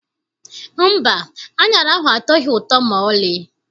Mba, aṅara ahụ atọghị ụtọ maọlị.